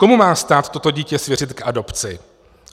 Komu má stát toto dítě svěřit k adopci?